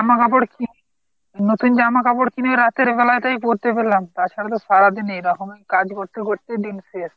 জামা কাপড় কি ? নতুন জামা কাপড় কিনে রাতের বেলাতেই পরতে পেলাম তাছাড়া তো সারাদিন এইরকমই কাজ করতে করতেই দিন শেষ।